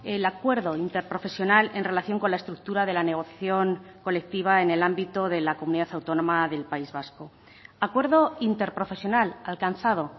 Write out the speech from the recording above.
el acuerdo interprofesional en relación con la estructura de la negociación colectiva en el ámbito de la comunidad autónoma del país vasco acuerdo interprofesional alcanzado